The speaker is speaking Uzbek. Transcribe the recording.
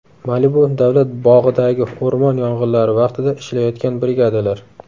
Malibu davlat bog‘idagi o‘rmon yong‘inlari vaqtida ishlayotgan brigadalar.